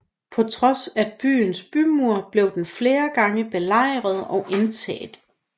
På trods af byens bymure blev den flere gange belejret og indtaget